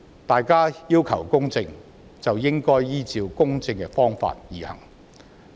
大家要求公正，便應該依照公正的方法行事。